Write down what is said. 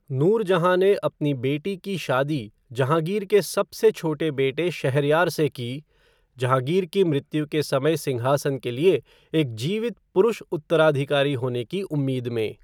नूरजहाँ ने अपनी बेटी की शादी जहाँगीर के सबसे छोटे बेटे शहरयार से की, जहाँगीर की मृत्यु के समय सिंहासन के लिए एक जीवित पुरुष उत्तराधिकारी होने की उम्मीद में।